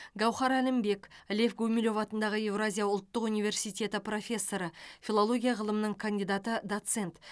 гауһар әлімбек лев гумилев атындағы еуразия ұлттық университеті профессоры филология ғылымының кандидаты доцент